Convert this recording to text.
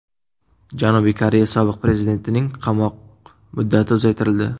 Janubiy Koreya sobiq prezidentining qamoq muddati uzaytirildi.